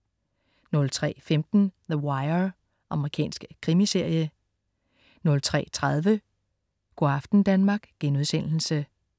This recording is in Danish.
03.15 The Wire. Amerikansk krimiserie 03.30 Go' aften Danmark*